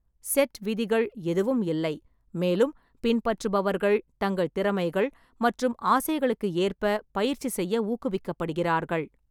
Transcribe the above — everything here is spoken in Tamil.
செட் விதிகள் எதுவும் இல்லை, மேலும் பின்பற்றுபவர்கள் தங்கள் திறமைகள் மற்றும் ஆசைகளுக்கு ஏற்ப பயிற்சி செய்ய ஊக்குவிக்கப்படுகிறார்கள்.